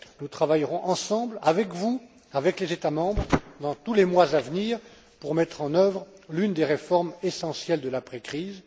Nous travaillerons ensemble, avec vous, avec les États membres, dans les mois à venir, pour mettre en œuvre l'une des réformes essentielles de l'après crise.